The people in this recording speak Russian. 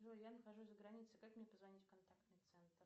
джой я нахожусь за границей как мне позвонить в контактный центр